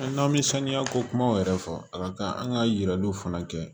N'an bɛ sanuya ko kumaw yɛrɛ fɔ a ka kan an ka yiraliw fana kɛ